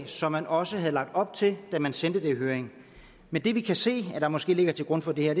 som man også havde lagt op til da man sendte det i høring men det vi kan se er det der måske ligger til grund for det her